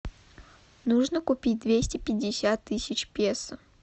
нужно купить двести пятьдесят тысяч песо